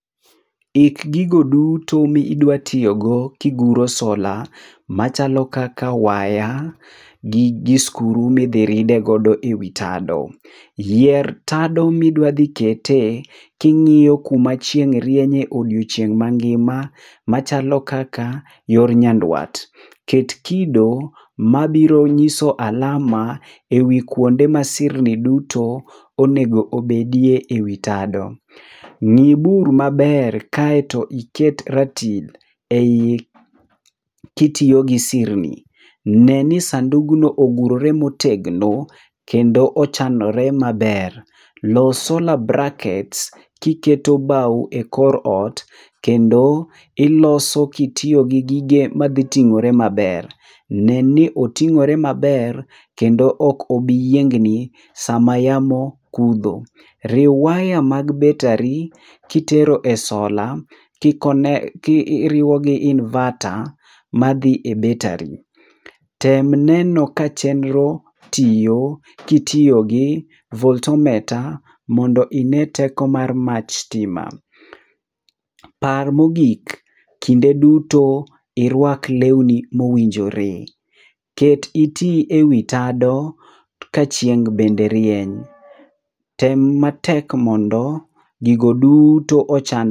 Ik gigo duto midwa tiyogo kiguro sola machalo kaka waya, gi skuru midhiridego ewi tado. Yier tado midwadhi kete king'iyo kuma chieng' rienye odieochieng' mangima machalo kaka yor Nyandwat. Ket kido mabiro nyiso alama ewi kuonde ma sirni duto onego obedie ewi tado. Ng'i bur maber kaeto iket ratil ei kitiyo gi sirni. Neni sandugno ogurore motegno kendo ochanore maber. Los sola brackets kiketo bau e kor ot, kendo iloso kitiyo gi gige madhi ting'ore maber. Neni oting'ore maber kendo ok obiyiengni sama yamao kudho. Riw waya mag battery kitero e sola kiriwo gi inverter madhi e battery. Tem neno ka chenro tiyo kitiyo gi voltometer mondo ine teko mar mach stima. Par mogik kinde duto irwak lewni mowinjore. Ket iti ewi tado ka chieng' bende rieny. Tem matek mondo gigo duto ochan...